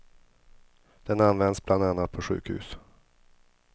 Den används bland annat på sjukhus.